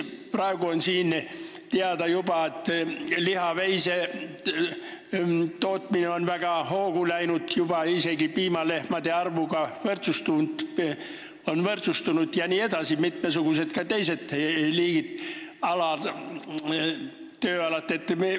Praegu on juba teada, et lihaveisekasvatus on väga hoogu läinud, veiste arv on isegi juba piimalehmade omaga võrdsustunud jne, on ka mitmesugused muud tööalad.